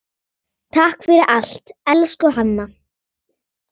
Takk fyrir allt, elsku Hanna.